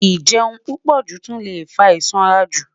Njẹ pupọju tun le fa isanraju